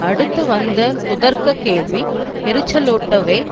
அடுத்து வந்த குதர்க்க கேள்வி எரிச்சலூட்டவே